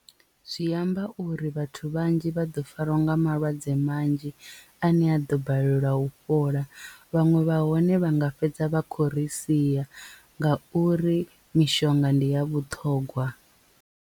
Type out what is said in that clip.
Zwi amba uri vhathu vhanzhi vha ḓo farwa nga malwadze manzhi a ne a ḓo balelwa u fhola vhaṅwe vha hone vha nga fhedza vha khou ri sia nga uri mishonga ndi ya vhuṱhongwa.